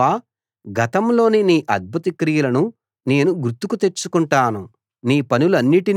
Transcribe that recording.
అయితే యెహోవా గతంలోని నీ అద్భుత క్రియలను నేను గుర్తుకు తెచ్చుకుంటాను